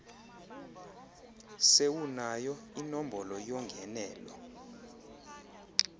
sewunayo inombolo yongenelo